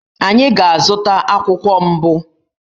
Anyị ga-azụta akwụkwọ mbụ